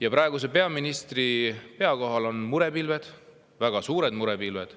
Ja praeguse peaministri pea kohal on väga suured murepilved.